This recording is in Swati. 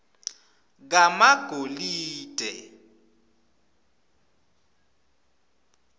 kamagolide